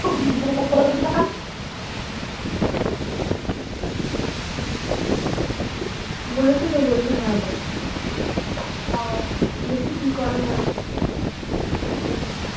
বলছিতো বলছে হ্যাঁ পড়তে যাবো দেখি কি করে মালটা